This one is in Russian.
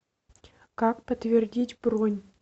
как подтвердить бронь